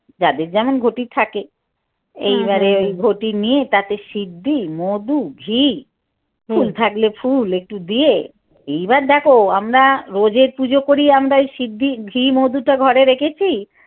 যাদের যেমন ঘটি থাকে। ঘটি নিয়ে তাতে সিদ্ধি মধু ঘি ফুল থাকলে ফুল একটু দিয়ে এইবার দেখ আমরা রোজেই পুজো করি আমরা সিদ্ধি ঘি মধুটা ঘরে রেখেছি।